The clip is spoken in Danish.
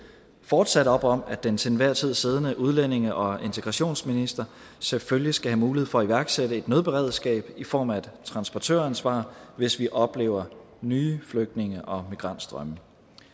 fortsat op om at den til enhver tid siddende udlændinge og integrationsminister selvfølgelig skal have mulighed for at iværksætte et nødberedskab i form af et transportøransvar hvis vi oplever nye flygtninge og migrantstrømme